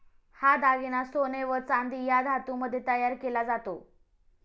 हा दागिना सोने व चांदी या धातूमध्ये तयार केला जातो.